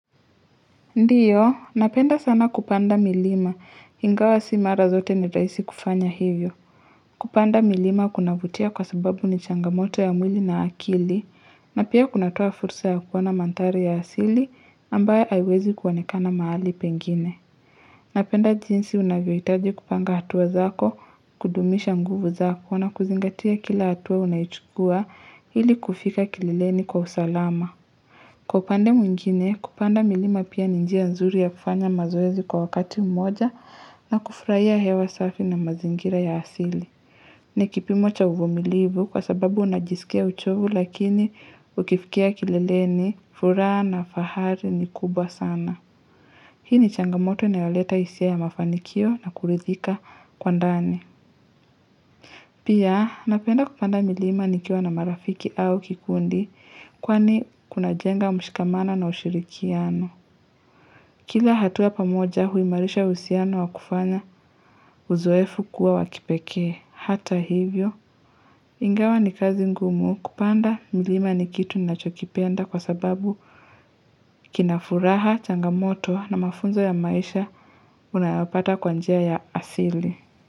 Ndiyo, napenda sana kupanda milima, ingawa sio mara zote ni rahisi kufanya hivyo. Kupanda milima kunavutia kwa sababu ni changamoto ya mwili na akili, na pia kunatoa fursa ya kuoana mandhari ya asili, ambayo haiwezi kuonekana mahali pengine. Napenda jinsi unavyohitaji kupanga hatua zako, kudumisha nguvu zako, na kuzingatia kila hatua unayochukua ili kufika kilileni kwa usalama. Kwa upande mwingine, kupanda milima pia ni njia nzuri ya kufanya mazoezi kwa wakati mmoja na kufurahia hewa safi na mazingira ya asili. Ni kipimo cha uvumilivu kwa sababu unajisikia uchovu lakini ukifikia kileleni, furaha na fahari ni kubwa sana. Hii ni changamoto inayoleta hisia ya mafanikio na kuridhika kwa ndani. Pia, napenda kupanda milima nikiwa na marafiki au kikundi kwani kunajenga mshikamano na ushirikiano. Kila hatua pamoja huimarisha uhusiano wa kufanya uzoefu kuwa wa kipekee. Hata hivyo, ingawa ni kazi ngumu kupanda milima ni kitu ninachokipenda kwa sababu kina furaha, changamoto na mafunzo ya maisha unayapata kwa njia ya asili.